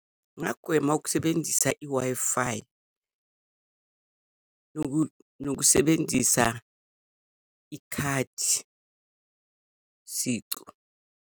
Ngingagwema ukusebenzisa i-Wi-Fi, nokusebenzisa ikhadi sicu.